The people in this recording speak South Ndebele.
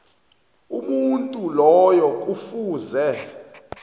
umuntu loyo kufuze